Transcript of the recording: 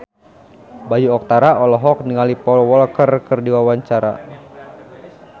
Bayu Octara olohok ningali Paul Walker keur diwawancara